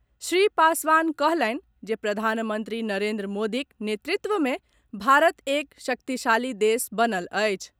श्री पासवान कहलनि जे प्रधानमंत्री नरेन्द्र मोदीक नेतृत्व में भारत एक शक्तिशाली देश बनल अछि।